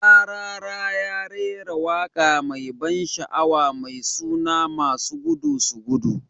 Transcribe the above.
"Rarara ya rera waka mai ban sha'awa mai suna "masu gudu su gudu".